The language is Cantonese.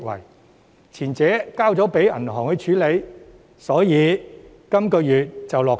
由於前者交由銀行處理，所以本月便能落實。